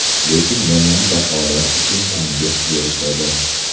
Lekin yomon baholar uchun tanbeh berishadi.